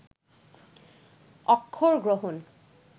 অক্ষর গ্রহণ